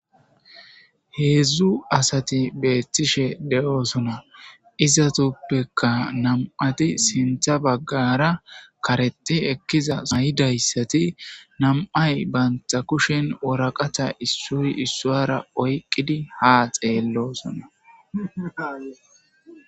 Heezzu asathi beeththishe de7oosona;izathuppekka nam7athi sinththa baggaara karexxi ekkiza suufiya mayidayssathi nam7ay banththa kushen woraqatha issoy issuwaara oyqqidi haa xeelloosona.